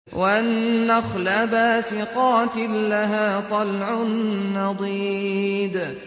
وَالنَّخْلَ بَاسِقَاتٍ لَّهَا طَلْعٌ نَّضِيدٌ